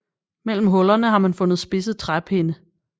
Mellem hullerne har man fundet spidse træpinde